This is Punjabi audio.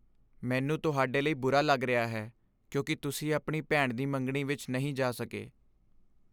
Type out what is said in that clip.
ਮੈਨੂੰ ਤੁਹਾਡੇ ਲਈ ਬੁਰਾ ਲੱਗ ਰਿਹਾ ਹੈ ਕਿਉਂਕਿ ਤੁਸੀਂ ਆਪਣੀ ਭੈਣ ਦੀ ਮੰਗਣੀ ਵਿੱਚ ਨਹੀਂ ਜਾ ਸਕੇ।